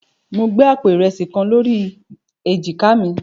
Mo gbé àpò ìrẹsì kan lórí èjìká mi.